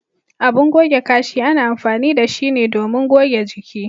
Abin goge Kashi ana amfani da shi ne domin goge jiki.